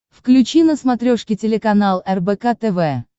включи на смотрешке телеканал рбк тв